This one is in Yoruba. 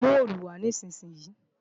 Mú òòlù wá nísinsìnyí!